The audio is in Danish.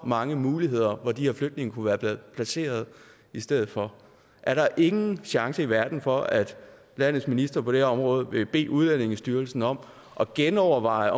mange muligheder for hvor de her flygtninge kunne være blevet placeret i stedet for er der ingen chance i verden for at landets minister på det her område vil bede udlændingestyrelsen om at genoverveje